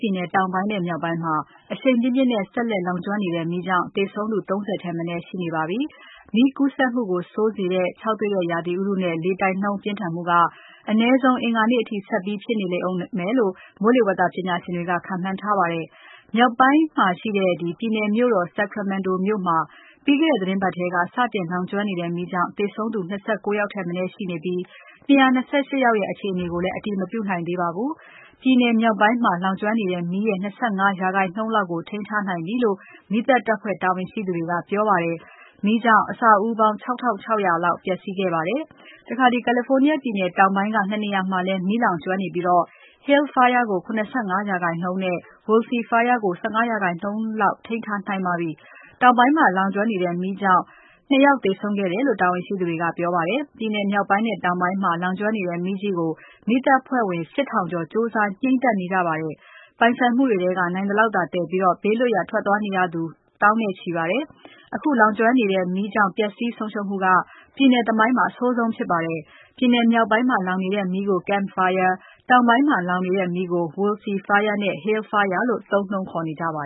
ပြည်နယ် တောင်ပိုင်းနဲ့ မြောက်ပိုင်းမှာ အရှိန်ပြင်းပြင်းနဲ့ ဆက်လက်လောင်ကျွမ်းနေတဲ့ မီးကြောင့် သေဆုံးသူ ၃၀ ထက်မနည်း ရှိနေပါပြီ။ မီးကူးစက်မှုကို ဆိုးစေတဲ့ ခြောက်သွေ့တဲ့ ရာသီဥတုနဲ့ လေတိုက်နှုန်းပြင်းထန်မှုက အနည်းဆုံး အင်္ဂါနေ့အထိ ဆက်ပြီးဖြစ်နေဦးမယ်လို့ မိုးလေဝသပညာရှင်တွေ ခန့်မှန်းထားကြပါတယ်။ မြောက်ပိုင်းမှာရှိတဲ့ ပြည်နယ်မြို့တော် Sacramento မှာ ပြီးခဲ့တဲ့ သီတင်းပါတ်ထဲက စတင်လောင်ကျွမ်းနေတဲ့မီးကြောင့် သေဆုံးသူ ၂၉ ယောက်ထက်မနည်းရှိနေပြီး ၂၂၈ ယောက်ရဲ့ အခြေအနေကိုလည်း အတည်မပြုနိုင်သေးပါဘူး၊ ပြည်နယ်မြောက်ပိုင်းမှာလောင်ကျွမ်းနေတဲ့ မီးရဲ့ ၂၅% လောက်ကို ထိန်းထားနိုင်ပြီလို့ မီးသတ်ဖွဲ့တာဝန်ရှိသူတွေက ပြောပါတယ်။ မီးကြောင့် အဆောက်အဦးပေါင်း ၆ ထောင့် ၆ ရာလောက် ပျက်စီးခဲ့ပါတယ်။ California ပြည်နယ် တောင်ပိုင်းက ၂ နေရာမှာလည်း မီးလောင်ကျွမ်းနေပြီး Hill Fire ကို ၇၅% နဲ့ Woolsey Fire ကို ၁၅% လောက် ထိန်းထားနိုင်ပါပြီ၊ တောင်ပိုင်းမှာလောင်ကျွမ်းတဲ့ မီးကြောင့် ၂ ယောက်သေဆုံးခဲ့တယ်လို့ တာဝန်ရှိသူတွေက ပြောပါတယ်။ ပြည်နယ်မြောက်ပိုင်းနဲ့ တောင်ပိုင်းမှာ လောင်ကျွမ်းနေတဲ့ မီးကြီးကို မီးသတ်တပ်ဖွဲ့ဝင် ၈ ထောက်ကျော်ကြိုးစား ငြှိမ်းသတ်နေကြပါတယ်။ ပိုင်ဆိုင်မှုတွေထဲက နိုင်သလောက်သာသယ်ပြီး ဘေးလွတ်ရာ ထွက်သွားနေရသူ သောင်းချီပါတယ်။ အခုလောင်ကျွမ်းနေတဲ့ မီးကြောင့် ပြည်နယ်သမိုင်းမှာ ပျက်စီးဆုံးရှုံးမှု အဆိုးဆုံးဖြစ်ပါတယ်။ ပြည်နယ်မြောက်ပိုင်းမှာ လောင်နေတဲ့ မီးကို Camp Fire တောင်ပိုင်းမှာလောင်နေတဲ့ မီးကို Woolsey Fire နဲ့ Hill Fire လို့ သုံးနှုန်းခေါ်နေကြပါ